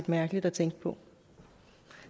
mærkeligt at tænke på